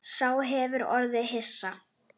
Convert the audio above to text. Sá hefur orðið hissa